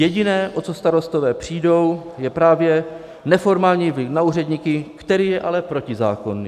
Jediné, o co starostové přijdou, je právě neformální vliv na úředníky, který je ale protizákonný.